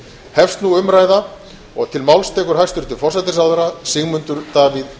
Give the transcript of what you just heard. hefst nú umræða og til máls tekur hæstvirtur forsætisráðherra sigmundur davíð gunnlaugsson